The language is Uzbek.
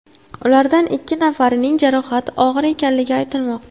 Ulardan ikki nafarining jarohati og‘ir ekanligi aytilmoqda.